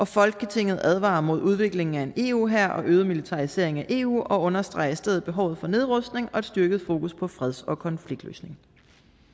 folketinget advarer mod udviklingen af en eu hær og øget militarisering af eu og understreger i stedet behovet for nedrustning og styrket fokus på freds og konfliktløsning